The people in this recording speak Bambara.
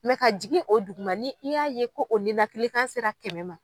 ka jigin o dugu ma ni i y'a ye ko o nenakilikan sera kɛmɛ ma.